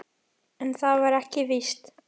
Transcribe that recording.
En það var ekki víst.